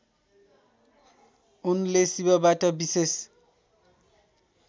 उनले शिवबाट विशेष